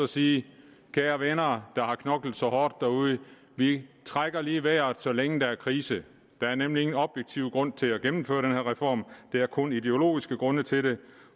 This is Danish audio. sige kære venner der har knoklet så hårdt derude vi trækker lige vejret så længe der er krise der er nemlig ikke nogen objektiv grund til at gennemføre den her reform der er kun ideologiske grunde til det